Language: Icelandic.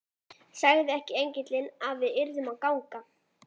Sagði ekki engillinn að við yrðum að ganga?